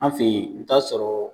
An fɛ yen i bɛ t'a sɔrɔ.